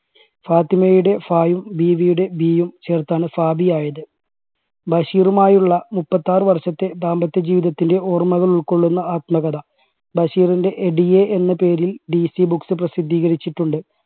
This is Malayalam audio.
ഫാത്തിമയുടെ ഫായും ബീവിയുടെ ബിയും ചേർത്താണ് ഫാബീ ആയത്. ബഷീറുമായുള്ള മുപ്പത്താറ് വർഷത്തെ ദാമ്പത്യ ജീവിതത്തിൻറെ ഓർമ്മകൾ ഉൾക്കൊള്ളുന്ന ആത്മകഥ ബഷീറിൻറെ എടിയെ എന്ന പേരിൽ DCBooks പ്രസിദ്ധീകരിച്ചിട്ടുണ്ട്.